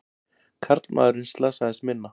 Karlmaðurinn slasaðist minna